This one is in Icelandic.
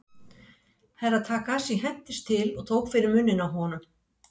Herra Takashi hentist til og tók fyrir munninn á honum.